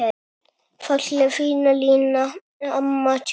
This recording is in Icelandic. Fallega fína Lína, amma tjútt.